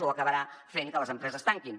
o acabarà fent que les empreses tanquin